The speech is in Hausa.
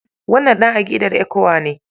Wannan ɗan aƙidar ECWA ne.